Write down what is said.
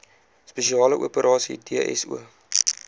spesiale operasies dso